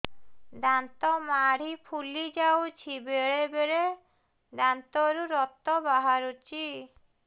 ଦାନ୍ତ ମାଢ଼ି ଫୁଲି ଯାଉଛି ବେଳେବେଳେ ଦାନ୍ତରୁ ରକ୍ତ ବାହାରୁଛି